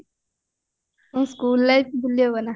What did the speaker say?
school life ଭୁଲି ହବ ନାଁ